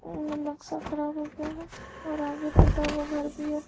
नक्शा खराब लग रहा हैं और आगे टूटा हुआ घर भी है।